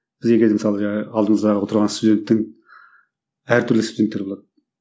біз егер мысалы жаңағы алдымыздағы отырған студентің әртүрлі студенттер болады